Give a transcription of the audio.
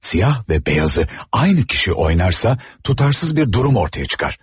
Siyah və beyazı aynı kişi oynarsa tutarsız bir durum ortaya çıkar.